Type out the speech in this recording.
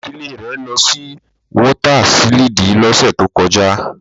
Idile re lọ si wọta siliidi lọse to kọja